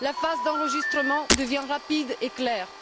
La phase d'enregistrement devient rapide et claire.